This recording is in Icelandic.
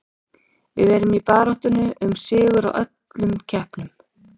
Við erum í baráttunni um sigur í öllum keppnum.